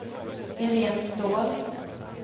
Irene Ståhl